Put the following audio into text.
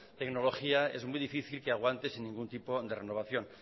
tecnología es muy difícil que aguante sin ningún tipo de renovación